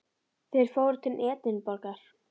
Þeir fóru til Edinborgar.